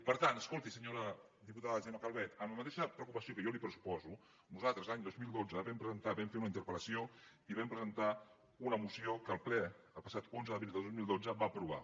per tant escolti senyora diputada gemma calvet amb la mateixa preocupació que jo li pressuposo nosaltres l’any dos mil dotze vam presentar vam fer una interpel·lació i vam presentar una moció que el ple el passat onze d’abril de dos mil dotze va aprovar